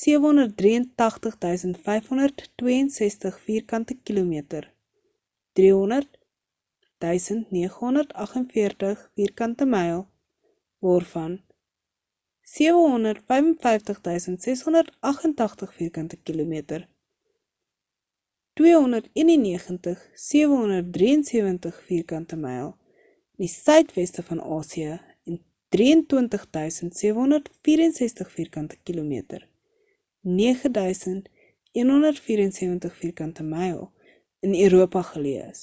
783 562 vierkante kilometer 300 948 vk myl waarvan 755 688 vk kilometer 291 773 vk myl in die suidweste van asië en 23 764 vk km 9 174vk myl in europa geleë is